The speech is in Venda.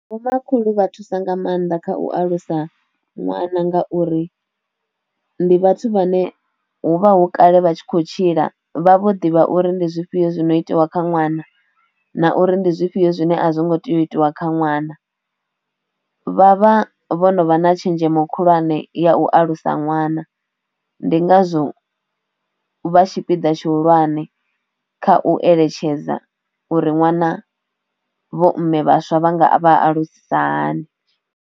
Vho makhulu vha thusa nga maanḓa kha u alusa ṅwana ngauri ndi vhathu vhane huvha hu kale vha tshi khou tshila vha vho ḓivha uri ndi zwifhio zwino itiwa kha ṅwana na uri ndi zwifhio zwine a zwo ngo tea u itiwa kha ṅwana, vha vha vho no vha na tshenzhemo khulwane ya u alusa ṅwana ndi ngazwo vha tshipiḓa tshihulwane kha u eletshedza uri ṅwana vho mme vhaswa vha nga vha alusisa hani.